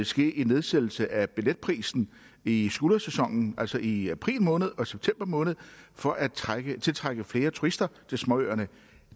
ske en nedsættelse af billetprisen i skuldersæsonen altså i april måned og i september måned for at tiltrække flere turister til småøerne